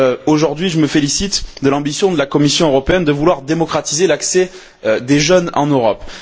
Aujourd'hui, je me félicite de l'ambition de la Commission européenne de vouloir démocratiser l'accès des jeunes en Europe.